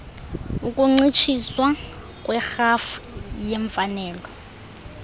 ukuncitshiswa kwerhafu yeemfanelo